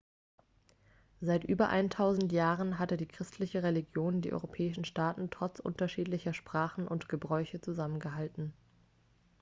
seit über eintausend jahren hatte die christliche religion die europäischen staaten trotz unterschiedlicher sprachen und gebräuche zusammengehalten